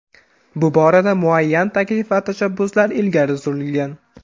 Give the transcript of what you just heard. Bu borada muayyan taklif va tashabbuslar ilgari surilgan.